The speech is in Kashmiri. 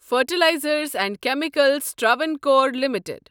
fertilizers and chemicals Travancore limited